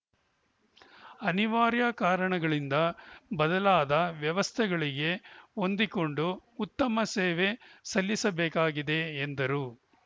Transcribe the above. ಅನಿವಾರ್ಯ ಕಾರಣಗಳಿಂದ ಬದಲಾದ ವ್ಯವಸ್ಥೆಗಳಿಗೆ ಹೊಂದಿಕೊಂಡು ಉತ್ತಮ ಸೇವೆ ಸಲ್ಲಿಸಬೇಕಾಗಿದೆ ಎಂದರು